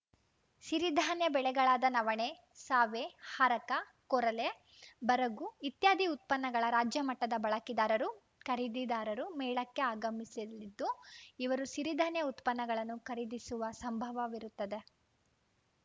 ಸಿರಿಧಾನ್ಯ ಬೆಳೆಗಳಾದ ನವಣೆ ಸಾವೆ ಹಾರಕ ಕೊರಲೆ ಬರಗು ಇತ್ಯಾದಿ ಉತ್ಪನ್ನಗಳ ರಾಜ್ಯ ಮಟ್ಟದ ಬಳಕೆದಾರರು ಖರೀದಿದಾರರು ಮೇಳಕ್ಕೆ ಆಗಮಿಸಲಿದ್ದು ಇವರು ಸಿರಿಧಾನ್ಯ ಉತ್ಪನ್ನಗಳನ್ನು ಖರೀದಿಸುವ ಸಂಭವವಿರುತ್ತದೆ